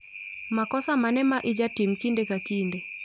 Makosa mane maijatim kinde ka kinde